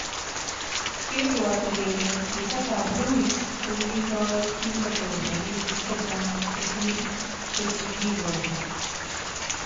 Kebwati kele sisekab Ruiz ko kitoi kingoteeb rabiinik checha'ng kosir chekikikoji